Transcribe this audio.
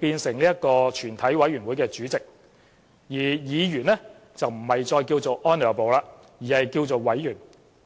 變成全委會主席，而議員稱呼不再有 "Honourable"， 而是稱為委員。